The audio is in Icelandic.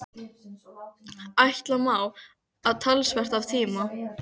Ætla má, að talsvert af tíma